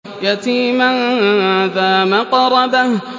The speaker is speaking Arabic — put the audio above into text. يَتِيمًا ذَا مَقْرَبَةٍ